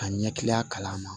Ka ɲɛ kilen a kalan ma